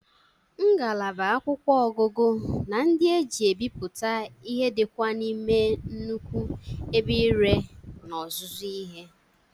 Ngalaba akwụkwọ ọgụgụ na ndị e ji ebiputa ihe dị kwa n'ime nnukwu ebe ire na ọzụzụ ihe.